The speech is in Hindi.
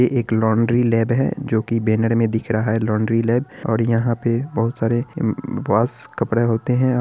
यह एक लौंडरी लैब है जोकी बैनर में दिख रहा है| लौंडरी लेब और यहाँ पे बहुत सारे वॉश कपड़े होते हैं।